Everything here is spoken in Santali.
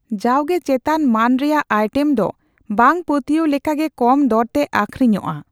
ᱡᱟᱣᱜᱮ, ᱪᱮᱛᱟᱱ ᱢᱟᱹᱱ ᱨᱮᱭᱟᱜ ᱟᱭᱴᱮᱹᱢ ᱫᱚ ᱵᱟᱝ ᱯᱟᱹᱛᱭᱟᱹᱣ ᱞᱮᱠᱟᱜᱮ ᱠᱚᱢ ᱫᱚᱨᱛᱮ ᱟᱹᱠᱷᱨᱤᱧᱚᱜᱼᱟ ᱾